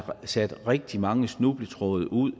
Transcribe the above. sat rigtig mange snubletråde ud